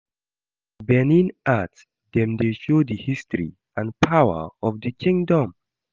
Benin art dem dey show di history and power of di kingdom.